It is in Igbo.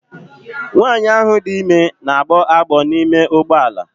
Nwanyị ahụ dị ime na-agbọ agbọ n'ime ụgbọ ala.